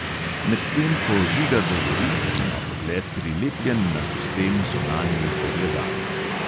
Medtem ko žiga govori, ima pogled prilepljen na sistem zunanjih ogledal.